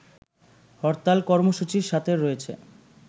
হরতাল কর্মসূচির সাথে রয়েছে